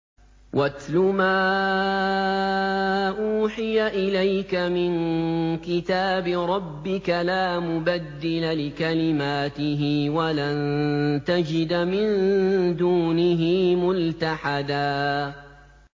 وَاتْلُ مَا أُوحِيَ إِلَيْكَ مِن كِتَابِ رَبِّكَ ۖ لَا مُبَدِّلَ لِكَلِمَاتِهِ وَلَن تَجِدَ مِن دُونِهِ مُلْتَحَدًا